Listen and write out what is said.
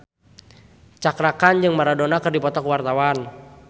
Cakra Khan jeung Maradona keur dipoto ku wartawan